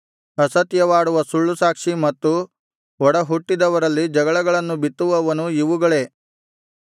ಅಸತ್ಯವಾಡುವ ಸುಳ್ಳುಸಾಕ್ಷಿ ಮತ್ತು ಒಡಹುಟ್ಟಿದವರಲ್ಲಿ ಜಗಳಗಳನ್ನು ಬಿತ್ತುವವನು ಇವುಗಳೇ